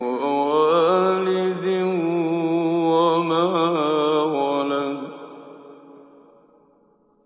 وَوَالِدٍ وَمَا وَلَدَ